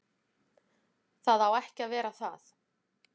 Það á ekki að vera það.